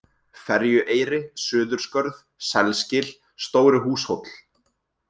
Ferjueyri, Suðurskörð, Selsgil, Stóri-Húshóll